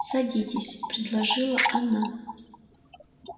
садитесь предложила она